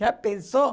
Já pensou?